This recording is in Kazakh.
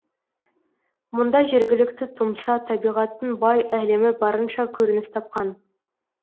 мұнда жергілікті тұмса табиғаттың бай әлемі барынша көрініс тапқан